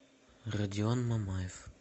родион мамаев